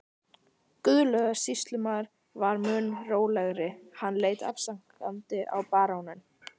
Guðlaugur sýslumaður var mun rólegri, hann leit afsakandi á baróninn.